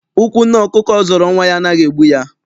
Ụkwụ nne ọkụkọ zọrọ nwa ya anaghị egbu ya.